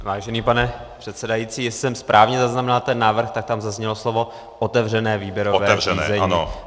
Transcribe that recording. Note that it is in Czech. Vážený pane předsedající, jestli jsem správně zaznamenal ten návrh, tak tam zaznělo slovo otevřené výběrové řízení.